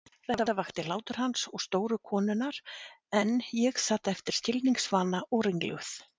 Þetta vakti hlátur hans og stóru konunnar en ég sat eftir skilningsvana og ringluð.